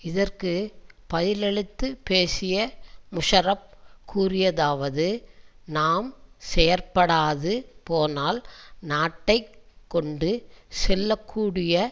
இதற்கு பதிலளித்துப் பேசிய முஷாரப் கூறியதாவது நாம் செயற்படாது போனால் நாட்டை கொண்டு செல்ல கூடிய